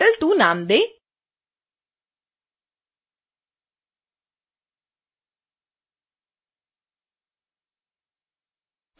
लेयरों को petal_1 और petal_2 नाम दें